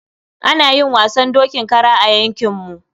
Ana yin wasan dokin kara a yankinmu.